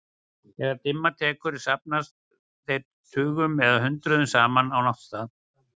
Þegar dimma tekur safnast þeir tugum eða hundruðum saman á náttstaði.